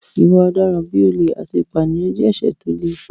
Ìwà ọ̀daràn bí olè àti ìpànìyàn jẹ́ ẹ̀ṣẹ̀ tó le